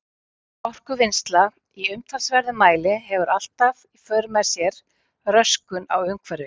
Orkuvinnsla í umtalsverðum mæli hefur alltaf í för með sér röskun á umhverfi.